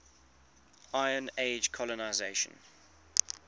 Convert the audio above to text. iron age colonisation